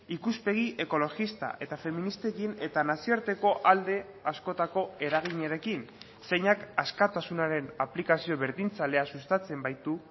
ikuspegi ekologista eta feministekin eta nazioarteko alde askotako eraginarekin zeinak askatasunaren aplikazio berdintzailea sustatzen baitu